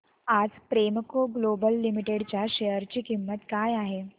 आज Premco global limited च्या share ची किंमत काय आहे